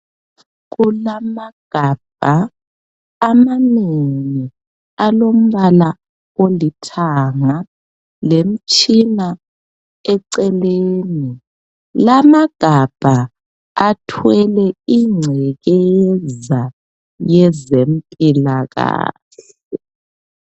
Kulamagabha amanengi alombala olithanga lemtshina eceleni. Lamagabha athwele ingcekeza yezempilakahle.